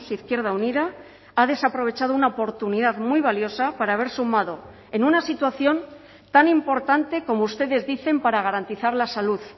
izquierda unida ha desaprovechado una oportunidad muy valiosa para haber sumado en una situación tan importante como ustedes dicen para garantizar la salud